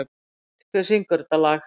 Lind, hver syngur þetta lag?